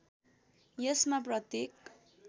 यसमा प्रत्येक